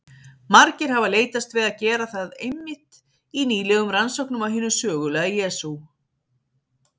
Margir hafa leitast við að gera það einmitt í nýlegum rannsóknum á hinum sögulega Jesú.